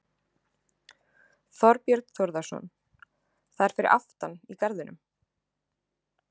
Þorbjörn Þórðarson: Það er fyrir aftan í garðinum?